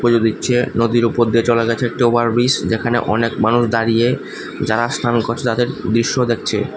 পুজো দিচ্ছে নদীর ওপর দিয়ে চলে গেছে একটি ওভার ব্রিজ যেখানে অনেক মানুষ দাঁড়িয়ে যারা স্নান করসে তাদের দৃশ্য দেখছে।